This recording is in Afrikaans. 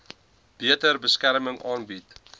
beter beskerming aanbied